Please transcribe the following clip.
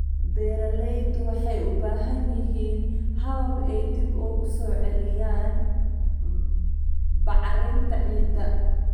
Beeraleydu waxay u baahan yihiin habab ay dib ugu soo celinayaan bacrinta ciidda.